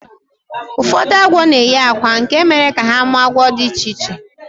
Ụfọdụ agwọ na-eyi akwa nke mere ka ha mụọ agwọ dị iche iche